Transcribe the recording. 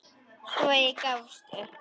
Svo gafst ég upp.